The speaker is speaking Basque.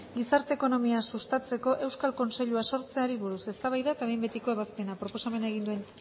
gizarte ekonomia sustatzeko euskal kontseilua sortzeari buruz eztabaida eta behin betiko ebazpena proposamena egin duen